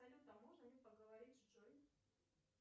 салют а можно мне поговорить с джой